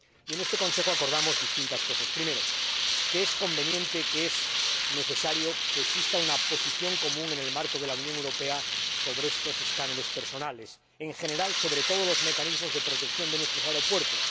Y en este Consejo acordamos distintas cosas en primer lugar, que es conveniente y necesario que exista una posición común en el marco de la Unión Europea sobre estos escáneres corporales y, en general, sobre todos los mecanismos de protección de nuestros aeropuertos